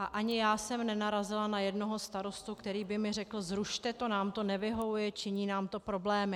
A ani já jsem nenarazila na jednoho starostu, který by mi řekl: zrušte to, nám to nevyhovuje, činí nám to problémy.